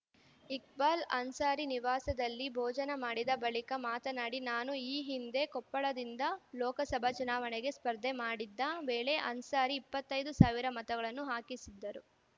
ಇಕ್ಬಾಲ್‌ ಅನ್ಸಾರಿ ನಿವಾಸದಲ್ಲಿ ಭೋಜನ ಮಾಡಿದ ಬಳಿಕ ಮಾತನಾಡಿ ನಾನು ಈ ಹಿಂದೆ ಕೊಪ್ಪಳದಿಂದ ಲೋಕಸಭಾ ಚುನಾವಣೆಗೆ ಸ್ಪರ್ಧೆ ಮಾಡಿದ್ದ ವೇಳೆ ಅನ್ಸಾರಿ ಇಪ್ಪತ್ತೈದು ಸಾವಿರ ಮತಗಳನ್ನು ಹಾಕಿಸಿದ್ದರು